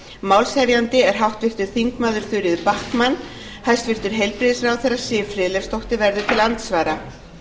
málshefjandi er háttvirtir þingmenn þuríður backman hæstvirtur heilbrigðisráðherra siv friðleifsdóttir verður til andsvara